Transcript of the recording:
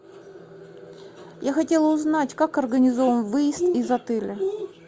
я хотела узнать как организован выезд из отеля